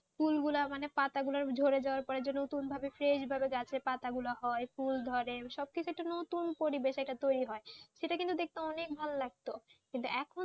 ফুলগুলো মানে পাতা ঝরে যাওয়ার পর যে নতুনভাবে fresh ভাবে গাছের পাতাগুলো হয়, ফুল ধরে, সবকিছু একটা নতুন পরিবেশ তৈরি হয়সেগুলো দেখতে কিন্তু অনেক ভালো লাগতো কিন্তু এখন,